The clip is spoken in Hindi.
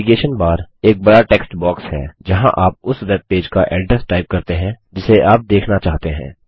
नैवीगेशन बार एक बड़ा टेक्स्ट बॉक्स है जहाँ आप उस वेबपेज का अड्रेस टाइप करते हैं जिसे आप देखना चाहते हैं